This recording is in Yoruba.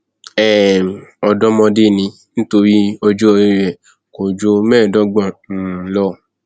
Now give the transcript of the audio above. um ọdọmọdé ni nítorí ọjọ orí rẹ kò ju mẹẹẹdọgbọn um lọ